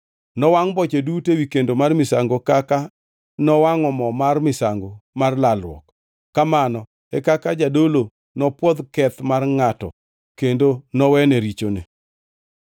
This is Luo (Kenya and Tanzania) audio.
Nowangʼ boche duto ewi kendo mar misango kaka nowangʼo mo mar misango mar lalruok. Kamano e kaka jadolo nopwodh ketho mar ngʼatno kendo nowene richone.